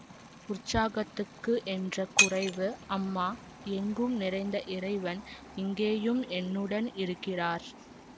உற்சாகத்துக்கு என்ற குறைவு அம்மா எங்கும் நிறைந்த இறைவன் இங்கேயும் என்னுடன் இருக்கிறார்